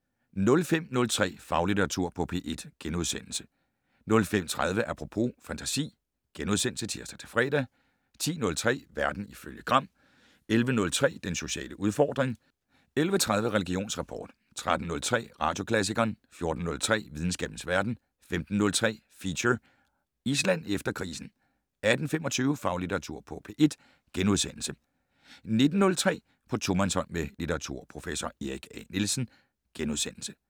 05:03: Faglitteratur på P1 * 05:30: Apropos - fantasi *(tir-fre) 10:03: Verden ifølge Gram 11:03: Den sociale udfordring 11:30: Religionsrapport 13:03: Radioklassikeren 14:03: Videnskabens verden 15:03: Feature: Island efter krisen 18:25: Faglitteratur på P1 * 19:03: På tomandshånd med litteraturprofessor Erik A. Nielsen *